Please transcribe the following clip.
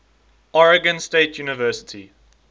oregon state university